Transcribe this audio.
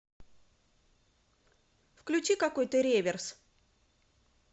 включи какой то реверс